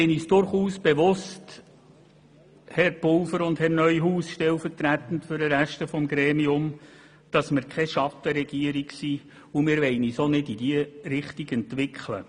Herr Pulver und Herr Neuhaus – in Vertretung des Gesamtregierungsrats –, uns ist durchaus bewusst, dass wir keine Schattenregierung sind, und wir wollen uns auch nicht in diese Richtung entwickeln.